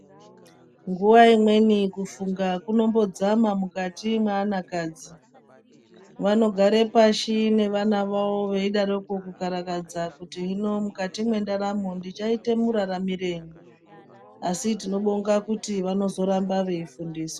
Nguva imweni kufunga kunombodzama mukati mwanakadzi. Vanogare pashi nevana vawo veyidaro kukarakadza kuti muno mukati mendaramo ndichayitemuraramirei. Asi tinozobonga kuti vanoramba veyifundiswa.